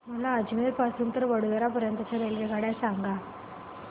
मला अजमेर पासून तर वडोदरा पर्यंत च्या रेल्वेगाड्या सांगा